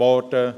Werden